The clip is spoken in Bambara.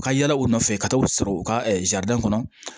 U ka yala u nɔfɛ ka taa u sɔrɔ u ka kɔnɔ